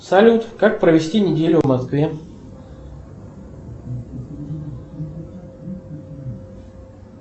салют как провести неделю в москве